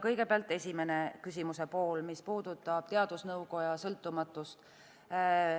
Kõigepealt küsimuse esimene pool, mis puudutab teadusnõukoja sõltumatust.